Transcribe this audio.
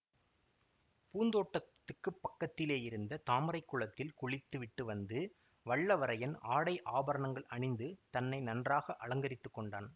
பூந்தோட்டத்துக்குப் பக்கத்திலேயிருந்த தாமரை குளத்தில் குளித்து விட்டு வந்து வல்லவரையன் ஆடை ஆபரணங்கள் அணிந்து தன்னை நன்றாக அலங்கரித்துக் கொண்டான்